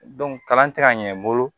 kalan tɛ ka ɲɛ n bolo